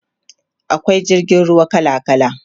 akwai jirgin ruwa kala kala